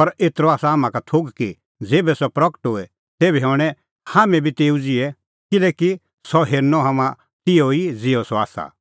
पर एतरअ आसा हाम्हां का थोघ कि ज़ेभै सह प्रगट होए तेभै हणैं हाम्हैं बी तेऊ ज़िहै किल्हैकि सह हेरनअ हाम्हां तिहअ ई ज़िहअ सह आसा